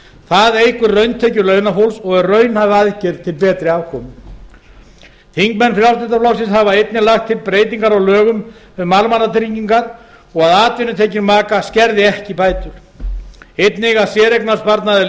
það eykur rauntekjur launafólks og er raunhæf aðgerð til betri afkomu þingmenn frjálslynda flokksins hafa einnig lagt til breytingar á lögum um almannatryggingar að atvinnutekjur maka skerði ekki bætur og einnig að séreignarsparnaður